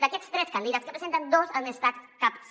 d’aquests tres candidats que presenten dos han estat caps